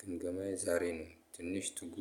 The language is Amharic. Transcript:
ግምገማዬ ዛሬ ነው ትንሽ ትጉ